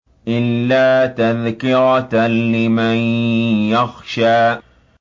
إِلَّا تَذْكِرَةً لِّمَن يَخْشَىٰ